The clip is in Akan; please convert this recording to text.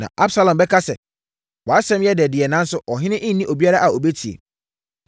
Na Absalom bɛka sɛ, “Wʼasɛm yɛ dɛ deɛ, nanso ɔhene nni obiara a ɔbɛtie.